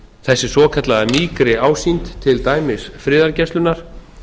þessi svokallaða mýkri ásýnd til dæmis friðargæslunnar